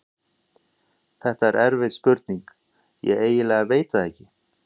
Þetta er erfið spurning, ég eiginlega veit það ekki.